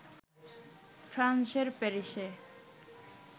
ফ্রান্সের প্যারিসে